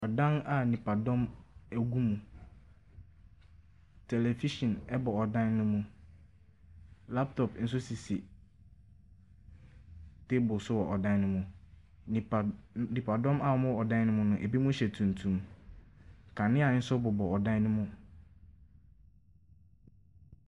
Ɔdan a nipadɔm ɛgu mu. Tɛlɛvihyin ɛbɔ ɔdan no mu. Laptɔp nso sisi taeble so wɔ ɛdan no mu. Nipadɔm a wɔn wɔ ɔdan no mu no ebi hyɛ tumtum. Kanea nso bobɔ ɔdan no mu.